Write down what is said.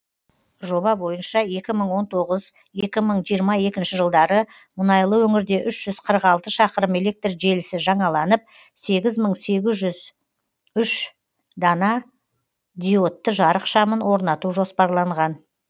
жоба бойынша екі мың он тоғыз екі мың жиырма екінші жылдары мұнайлы өңірде үш жүз қырық алты шақырым электр желісі жаңаланып сегіз мың сегіз жүз үш дана диодты жарық шамын орнату жоспарланған